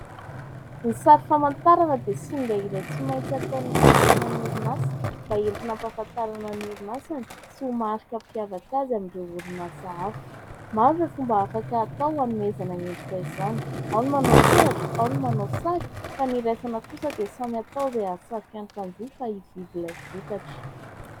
Ny sary famantarana dia singa iray tsy maintsy ataon'ny mpitantana ny orinasa mba entina ampahafantarana ny orinasany sy ho marika hampiavaka azy amin'ireo orinasa hafa. Maro ireo fomba afaka atao hanomezana endrika izany : ao ny manao soratra, ao ny manao sary. Fa ny iraisana kosa dia samy atao izay ahasarika ny mpanjifa hividy ilay vokatra.